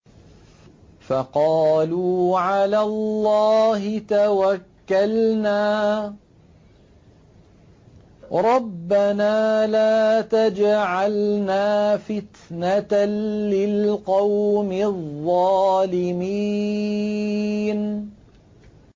فَقَالُوا عَلَى اللَّهِ تَوَكَّلْنَا رَبَّنَا لَا تَجْعَلْنَا فِتْنَةً لِّلْقَوْمِ الظَّالِمِينَ